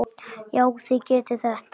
Já, þið getið þetta.